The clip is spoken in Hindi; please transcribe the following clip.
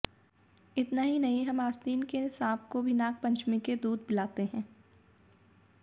इतना ही नहीं हम आस्तीन के सांप को भी नाग पंचमी के दूध पिलाते हैं